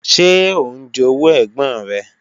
Ṣé ó ń jowú ẹ̀gbọ́n rẹ̀?